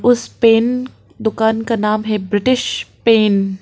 उस पेन दुकान का नाम है ब्रिटिश पेन ।